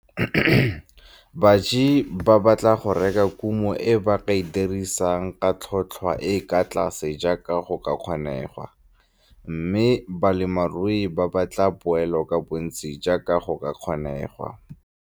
Baji ba batla go reka kumo e ba e dirisang ka tlhotlhwa e e kwa tlase jaaka go ka kgonegwa, mme balemirui ba batla poelo ka bontsi jaaka go ka kgonegwa.